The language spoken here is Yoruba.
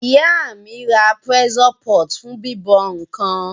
Ìyá mí ra pressure pot fún bíbọ̀ nkan